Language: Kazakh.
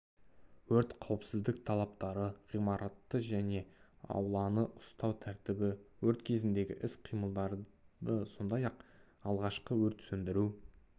өрт қауіпсіздік талаптары ғимаратты және ауланы ұстау тәртібі өрт кезіндегі іс-қимылдары сондай-ақ алғашқы өрт сөндіру